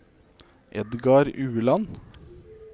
Edgar Ueland